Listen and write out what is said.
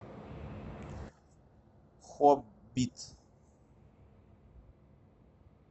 хоббит